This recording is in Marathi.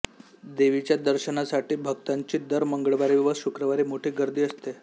देवीच्या दर्शनासाठी भक्तांची दर मंगळवारी व शुक्रवारी मोठी गर्दी असते